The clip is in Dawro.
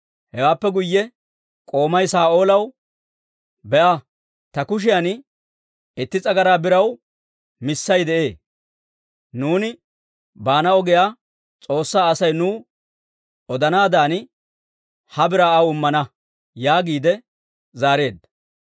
Hewaappe guyye k'oomay Saa'oolaw, «Be'a; ta kushiyan itti s'agaraa biraw missay de'ee; nuuni baana ogiyaa S'oossaa Asay nuw odanaadan ha biraa aw immana» yaagiide zaareedda.